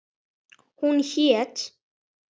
Hún hét